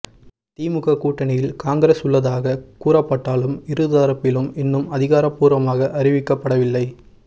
திமுக கூட்டணியில் காங்கிரஸ் உள்ளதாக கூறப்பட்டாலும் இருதரப்பிலும் இன்னும் அதிகாரபூர்வமாக அறிவிக்கப்படவிலை